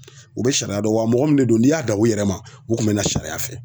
U be sariya dɔn wa mɔgɔ min de don n'i y'a dan u yɛrɛ ma u kun bɛ na sariya fɛ.